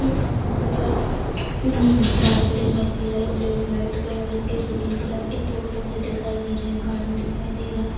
इ दिखा है उम् बादल दिखैत हई ब्लैक वाइट कलर के ग्रीन कलर के पेड़ पौधे दिखाई दे रहे हैं | गार्डन दिखाई दे रहा है |